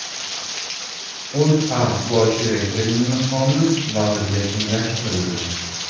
O‘zA bosh direktorining maqomi vazirga tenglashtirildi.